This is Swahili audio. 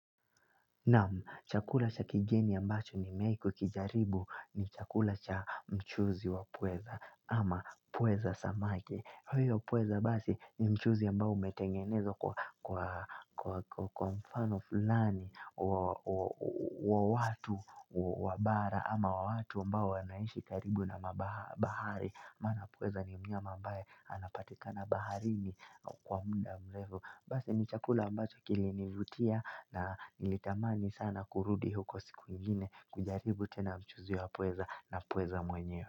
Naam, chakula cha kigeni ambacho nimewai kukijaribu ni chakula cha mchuzi wa pweza ama pweza samaki. Huyo pweza basi ni mchuzi ambao umetengenezwa kwa kwa mfano fulani wa watu wa bara ama wa watu ambao wanaishi karibu na bahari. Maana pweza ni mnyama ambaye anapatikana baharini kwa muda mrefu. Basi ni chakula ambacho kilinivutia na nilitamani sana kurudi huko siku ingine kujaribu tena mchuzi wa pweza na pweza mwenyewe.